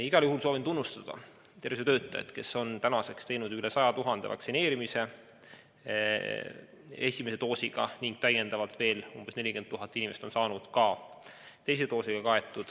Igal juhul soovin tunnustada tervishoiutöötajad, kes on tänaseks vaktsineerinud üle 100 000 inimese esimese doosiga ning veel umbes 40 000 inimest on saanud ka teise doosi.